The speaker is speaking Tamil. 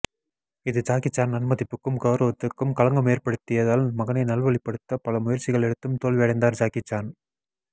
இது ஜாக்கிஜான் நன்மதிப்புக்கும் கௌரவத்திட்கும் களங்கம் ஏபற்டுத்தியதால் மகனை நல் வழிப்படுத்த பல முயற்சிகள் எடுத்தும் தோல்வி அடைந்தார் ஜாக்கிஜான்